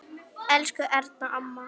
Elsku Erna amma.